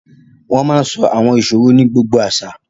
Riddles are told in almost every culture